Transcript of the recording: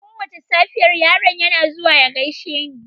Kowace safiya, yaron yana zuwa ya gaishe ni.